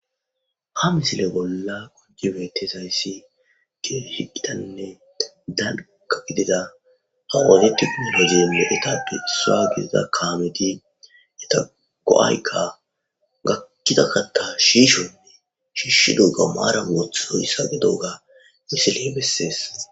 ha misile bolla koje betes ayssi gi hiqidanne danka gidida awaadetiku hozeenne etadu issaa gidida kaameti eta go7aykka gakkiza katta shiishonne shiishshi doga maara oothidoyssa ge dooga misile bessees